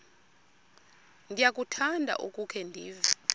ndiyakuthanda ukukhe ndive